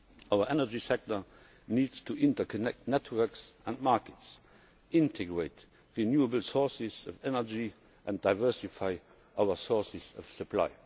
Our energy sector needs to interconnect networks and markets, integrate renewable sources of energy, and diversify our sources of supply.